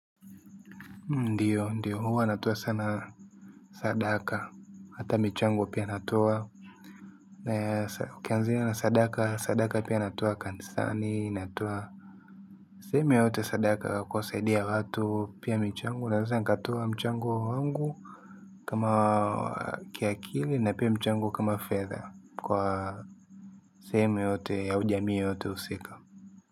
Ndiyo, ndiyo, huwa natoa sana sadaka, hata mchango pia natoa, na ukianzia na sadaka, sadaka pia natoa kanisani, natoa sehemu yoyote sadaka kuwasaidia watu pia michango, naeza nikatoa mchango wangu kama kiakili na pia mchango kama fedha kwa sehemu yoyote au jamii yoyote husika.